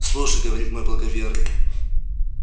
слушай говорит мой благоверный